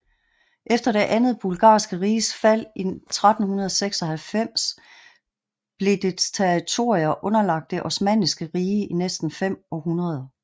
Efter det andet Bulgarske Riges fald i 1396 blev dets territorier underlagt det Osmanniske Rige i næsten fem århundreder